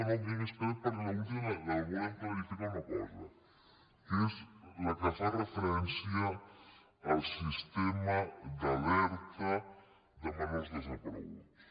no més que res perquè l’última volem clarificar una cosa que és la que fa referència al sistema d’alerta de menors desapareguts